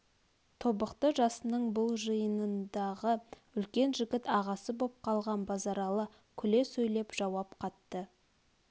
тобықты жасының бұл жиынындағы үлкен жігіт ағасы боп қалған базаралы күле сөйлеп жауап қатты